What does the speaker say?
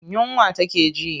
Yunwa take ji.